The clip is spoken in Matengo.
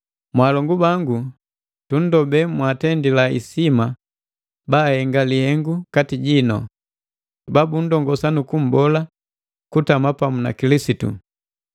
Mwalongu bangu tunndomba mwaatendila hisima bahenga lihengu kati jino, babundongosa nu kumbola kutama pamu na Kilisitu.